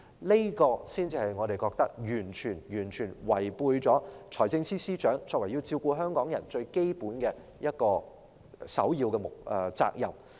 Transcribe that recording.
這正是為何我們認為財政司司長完全違背了他要照顧香港人的這個首要的基本責任。